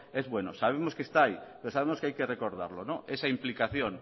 es bueno sabemos que está ahí pero sabemos que hay que recordarlo esa implicación